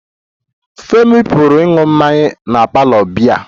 Femi pụrụ ịṅụ mmanya na parlour biya